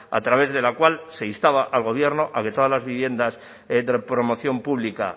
a través de la cual se instaba al gobierno a que todas las viviendas de promoción pública